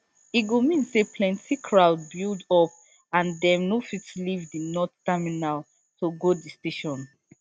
e go mean say plenty crowd build up and dem no fit leave di north terminal to go di station